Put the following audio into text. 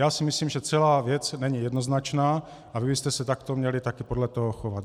Já si myslím, že celá věc není jednoznačná a vy byste se takto také měli podle toho chovat.